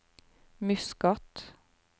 Muscat